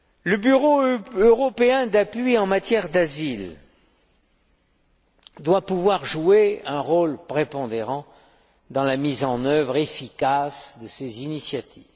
Le Bureau européen d'appui en matière d'asile doit pouvoir jouer un rôle prépondérant dans la mise en œuvre efficace de ces initiatives.